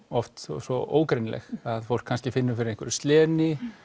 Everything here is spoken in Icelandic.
oft svo ógreinileg að fólk kannski finnur fyrir einhverju sleni